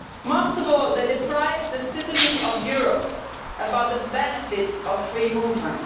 Most of all, they deprive the citizens of Europe of the benefits of free movement.